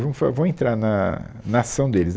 Vamos fa, vamos entrar na na ação deles.